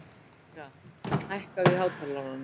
Malika, hækkaðu í hátalaranum.